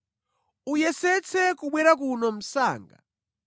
Uyesetse kubwera kuno msanga.